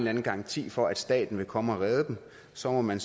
anden garanti for at staten vil komme og redde dem og så må man